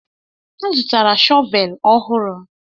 M zụtara shọvel ọhụrụ